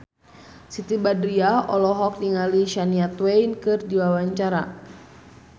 Siti Badriah olohok ningali Shania Twain keur diwawancara